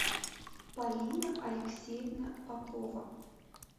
полина алексеевна попова